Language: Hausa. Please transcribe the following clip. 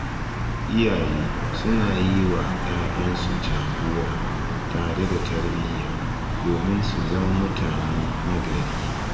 Iyaye suna yi wa ‘ya’yansu jagora tare da tarbiyya domin su zama mutane nagari